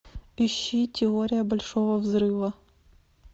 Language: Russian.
ищи теория большого взрыва